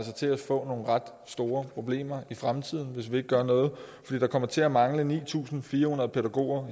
til at få nogle ret store problemer i fremtiden hvis vi ikke gør noget fordi der kommer til at mangle ni tusind fire hundrede pædagoger